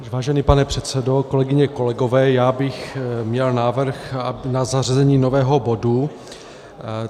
Vážený pane předsedo, kolegyně, kolegové, já bych měl návrh na zařazení nového bodu.